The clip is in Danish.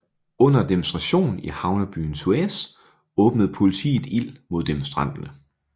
Under demonstration i havnebyen Suez åbnede politiet ild mod demonstranterne